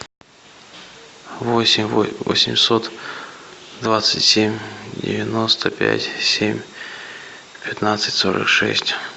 восемь восемьсот двадцать семь девяносто пять семь пятнадцать сорок шесть